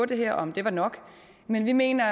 det her og om det var nok men vi mener